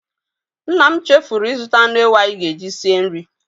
Nna m chefuru ịzụta anụ ewu anyị ga-eji sie nri.